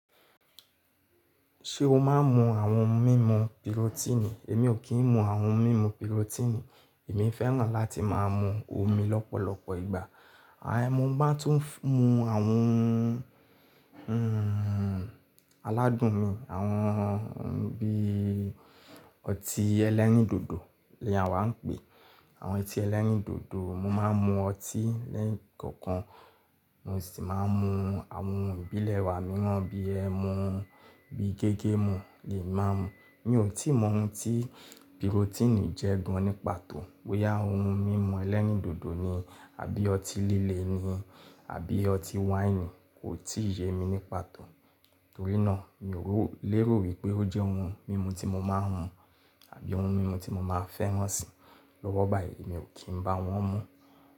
Ṣé o máa ń mu àwọn mímu pirotíìnì? Èmi ò kí ń mu àwọn mímu pirotíìnì. Èmi fẹ́ràn láti máa mu omi lọ́pọ̀lọpọ̀ ìgbà. Àìní mo bá tún mu àwọn, aládùn mi, àwọn bí. Ọtí ẹlẹ́rìndòdò ni a wá ń pè, àwọn ọtí ẹlẹ́rìndòdò. Mo máa ń mu ọtí lẹ́ẹ̀kọ̀kan. Mo sì máa ń mu àwọn ìbílẹ̀ wa mìíràn bí ẹmu, bí gégémù ni màá mú. Mi ò tíì mọ ohun tí pirotíìnì jẹ́ gan ní pàtó. Boya òun mímu ẹlẹ́rìndòdò ni àbí ọtí líle ni, abí ọtí wáìnì, kò tí ì yé mi ní pàtó. Torí náà mi ò lè rò wípé ó jẹ́ ohun mímu tí mo máa ń mu àbí ohun mímu tí mo máa fẹ́ràn si lọ́wọ́ báyìí. Èmi ò kí ń bá wọn mú.